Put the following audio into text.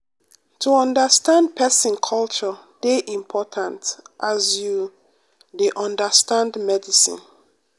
to understand pesin culture dey important as you um dey understand medicine.